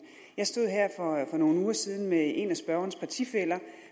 jeg stod her for nogle uger siden med en af spørgerens partifæller